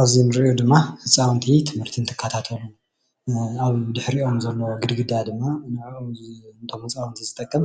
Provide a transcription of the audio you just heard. አብዚ አንሪኦ ድማ ህፃዉንቲ ትምህርቲ እንትከታተሉ አብ ድሕሪኦም ዘሎ ግድግዳ ድማ ንዐኦም ነቶም ህፃውንቲ ዝጠቅም